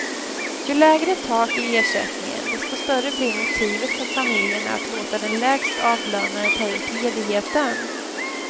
Ju lägre tak i ersättningen, desto större blir motivet för familjerna att låta den lägst avlönade ta ut ledigheten.